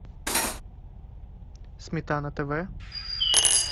сметана тв